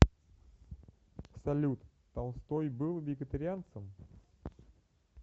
салют толстой был вегетарианцем